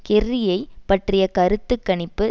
கெர்ரியை பற்றிய கருத்து கணிப்பு